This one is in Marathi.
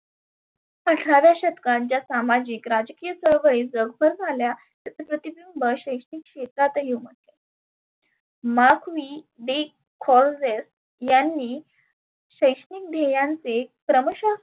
आठराव्या शतकात ज्या सामाजीक राजकीय चळवळीत जगभर झाल्या त्याच प्रतिबिंब शैक्षणीक क्षेत्रातही उमठले. मार्कवी डेखॉर्वेस यांनी शैक्षणीक ध्येयांचे क्रमशः